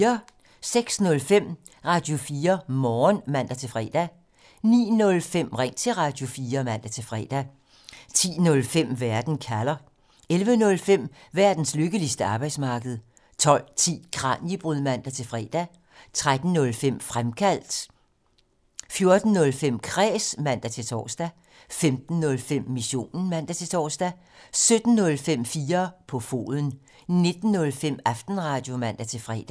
06:05: Radio4 Morgen (man-fre) 09:05: Ring til Radio4 (man-fre) 10:05: Verden kalder (man) 11:05: Verdens lykkeligste arbejdsmarked (man) 12:10: Kraniebrud (man-fre) 13:05: Fremkaldt (man) 14:05: Kræs (man-tor) 15:05: Missionen (man-tor) 17:05: 4 på foden (man) 19:05: Aftenradio (man-fre)